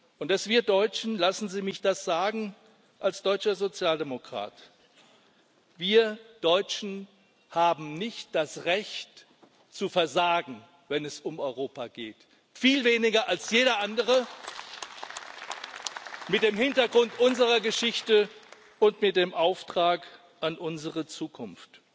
Und dass wir Deutschen, lassen Sie mich das sagen als deutscher Sozialdemokrat Wir Deutschen haben nicht das Recht zu versagen, wenn es um Europa geht viel weniger als jeder andere, mit dem Hintergrund unserer Geschichte und mit dem Auftrag an unsere Zukunft.